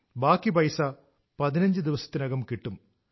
ബാക്കി പൈസ പതിനഞ്ച് ദിവസത്തിനകം കിട്ടും